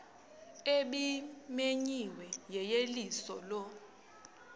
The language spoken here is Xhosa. ebimenyiwe yeyeliso lo